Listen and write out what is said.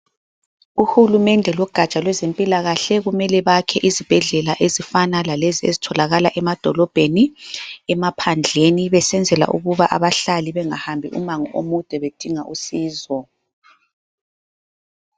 Uhulumende logatsha lwezempilakahle kumele bakhe izibhedlela ezifana lalezi ezitholakala emadolobheni emaphandleni, besenzela ukuba abahlali bengahambi umango omude bedinga usizo.